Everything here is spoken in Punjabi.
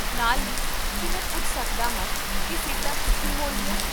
ਨਾਲ ਹੀ, ਕੀ ਮੈਂ ਪੁੱਛ ਸਕਦਾ ਹਾਂ ਕੀ ਸੀਟਾਂ ਕਿੱਥੇ ਹੋਣਗੀਆਂ?